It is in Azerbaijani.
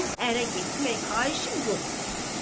onun ərə getmək xahişi yoxdur.